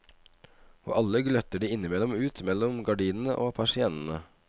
Og alle gløtter de innimellom ut mellom gardinene og persiennene.